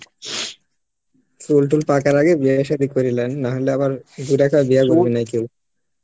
চুল তুল পাকার আগে বিয়া সাদি করে লেন নাহলে আবার কেউ